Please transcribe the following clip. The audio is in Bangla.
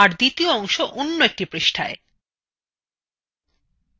আর দ্বিতীয় অংশ আর একটি পৃষ্ঠায়